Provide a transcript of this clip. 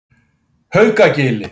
Haukagili